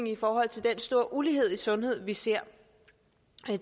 i forhold til den store ulighed i sundhed vi ser